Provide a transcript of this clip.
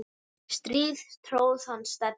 strý tróð hann Stebbi